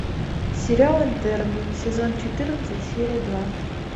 сериал интерны сезон четырнадцать серия два